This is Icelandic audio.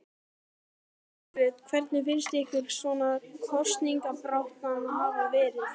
Jóhanna Margrét: Hvernig finnst ykkur svona kosningabaráttan hafa verið?